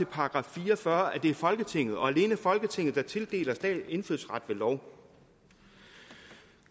§ fire og fyrre at det er folketinget og alene folketinget der tildeler indfødsret ved lov